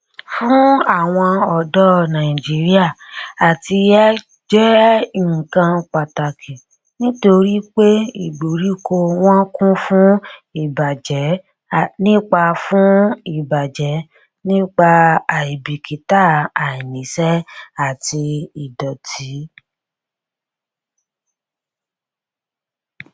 fún àwon ọdọ nàìjíríà àtiyè jẹ nnkan pàtàkì nítorí pé ìgbèríko wọn kún fún ìbàjẹ nípa fún ìbàjẹ nípa àìbìkítà àìníṣẹ àti ìdòtí